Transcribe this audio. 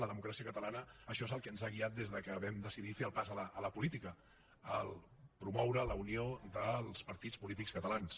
a democràcia catalana això és el que ens ha guiat des que vam decidir fer el pas a la política promoure la unió dels partits polítics catalans